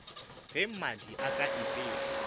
ge mmadi a ka ipea